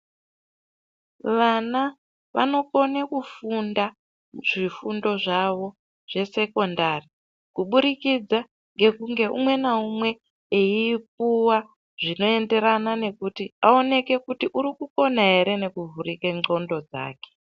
Vana vanokone kufunda zvifundo zvavo zvesekondari, kuburikidza ngekunge umwe naumwe eyipuwa zvinoenderana nekuti awoneke kuti uri kukona ere nekuvhurike ndxondo dzake.